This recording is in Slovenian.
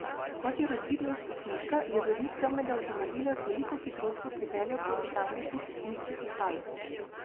Kot je razvidno iz posnetka je voznik temnega avtomobila z veliko hitrostjo pripeljal proti tamkajšnji cestninski postaji.